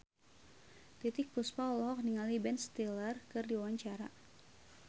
Titiek Puspa olohok ningali Ben Stiller keur diwawancara